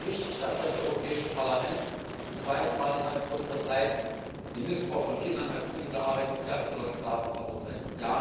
Es ist wichtig, dass das Europäische Parlament zum zweiten Mal innerhalb kurzer Zeit den Missbrauch von Kindern als billige Arbeitskräfte oder als Sklaven verurteilt.